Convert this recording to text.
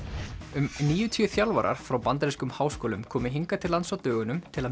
um níutíu þjálfarar frá bandarískum háskólum komu hingað til lands á dögunum til að